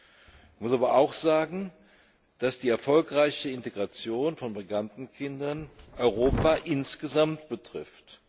Ich muss aber auch sagen, dass die erfolgreiche Integration von Migrantenkindern Europa insgesamt betrifft.